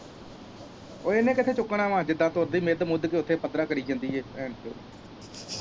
ਓ ਇੰਨੇ ਕਿਥੋਂ ਚੁੱਕਣਾ ਵਾ ਜਿਦਾ ਤੁਰਦੀ ਮਿਦ ਮੁੱਦ ਕੇ ਉੱਥੇ ਪੱਧਰਾਂ ਕਰੀ ਜਾਂਦੀ ਐ।